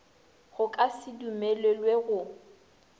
go ka se dumelelwe go